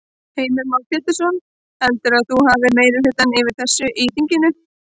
Heimir Már Pétursson: Heldurðu að þú hafi meirihluta fyrir þessu í þinginu?